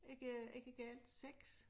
Ikke ikke galt 6